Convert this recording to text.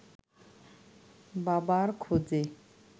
বাবার খোঁজে